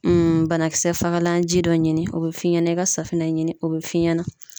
banakisɛ fagalan ji dɔ ɲini o bɛ f'i ɲɛna i ka safinɛ ɲini o bɛ f'i ɲɛna